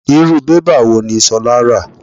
Irú bébà wò ní Sola ra?